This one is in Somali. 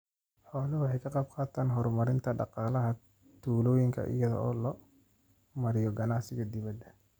Xooluhu waxay ka qaybqaataan horumarinta dhaqaalaha tuulooyinka iyada oo loo marayo ganacsiga dibadda.